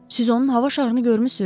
Siz onun hava şarını görmüsüz?